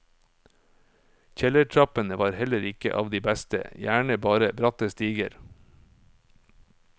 Kjellertrappene var heller ikke av de beste, gjerne bare bratte stiger.